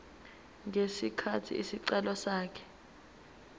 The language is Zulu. ngesikhathi isicelo sakhe